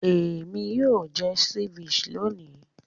Èmi yóò jẹ ceviche lónì.